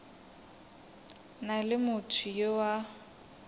na le motho yo a